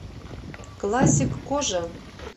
классик кожа